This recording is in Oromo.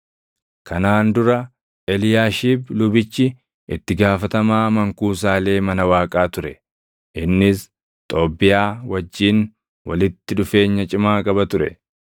Kanaan dura Eliyaashiib lubichi itti gaafatamaa mankuusaalee mana Waaqaa ture. Innis Xoobbiyaa wajjin walitti dhufeenya cimaa qaba ture;